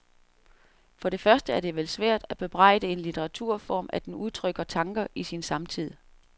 For det første er det vel svært at bebrejde en litteraturform at den udtrykker tanker i sin samtid.